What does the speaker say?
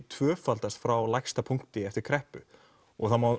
tvöfaldast frá lægsta punkti eftir kreppu það má